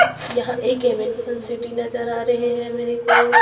यहां एक सिटी नजर आ रहे हैं मेरे को।